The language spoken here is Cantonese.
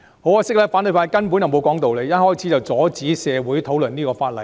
很可惜，反對派根本不講道理，一開始就阻止社會討論此項法案。